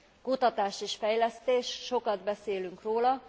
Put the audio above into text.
Kutatás és fejlesztés, sokat beszélünk róla.